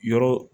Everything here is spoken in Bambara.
Yɔrɔ